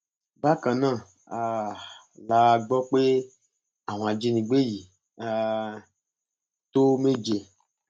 bákan náà um la gbọ pé àwọn ajínigbé yìí um tó méje